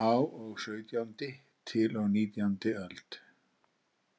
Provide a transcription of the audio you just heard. Á og sautjándi til og nítjándi öld.